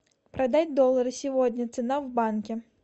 продать доллары сегодня цена в банке